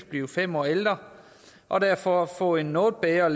blive fem år ældre og derfor få en noget bedre og